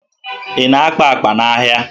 Ị na-akpa akpa n'ahịa?